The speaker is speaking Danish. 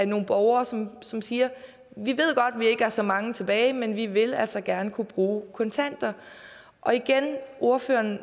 nogle borgere som som siger vi ved godt at vi ikke er så mange tilbage men vi vil altså gerne kunne bruge kontanter ordføreren